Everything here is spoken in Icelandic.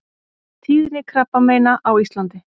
TÍÐNI KRABBAMEINA Á ÍSLANDI